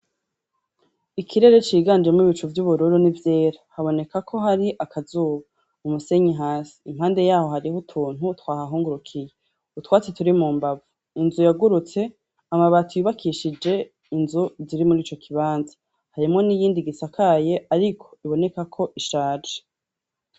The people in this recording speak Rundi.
Ikirere ciganje mwibicu vy'ubururo ni vyera haboneka ko hari akazuba umusenyi hasi impande yaho hariho utuntu twahahungurukiye utwatsi turi mu mbavu inzu yagurutse amabati yubakishije inzu ziri muri ico kibanza harimo n'iyindi gisakaye, ariko iboneka ko ishaje.